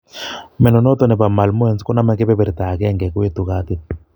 Mnyondo noton nebo malmoense koname kebeberta agenge, koetu katit